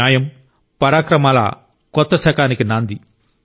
న్యాయం పరాక్రమాల కొత్త శకానికి నాంది